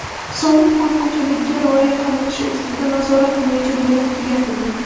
Soliq qonunchiligiga rioya qilinishi ustidan nazorat bo‘yicha bo‘lim tugatildi.